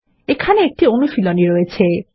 এখানে একটি অনুশীলনী রয়েছে